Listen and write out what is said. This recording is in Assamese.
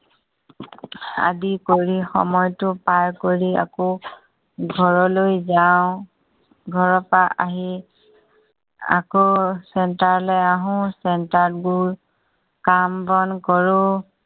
আদি কৰি সময়টো পাৰ কৰি আকৌ ঘৰলৈ যাও। ঘৰৰ পৰা আহি আকৌ centre লৈ আহো। centre ত বহু কাম বন কৰো।